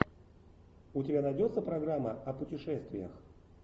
у тебя найдется программа о путешествиях